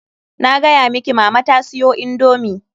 Na gaya miki mama ta siyo indomii.